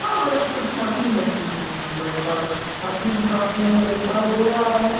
बड़े-बड़े कुछ मशीन रखी हुई हैं | एक लड़का मशीन उठा के ये दिखाई दे रहा है |